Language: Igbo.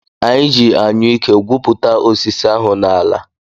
Anyị ji Anyụike gwupụta osisi ahụ n’ala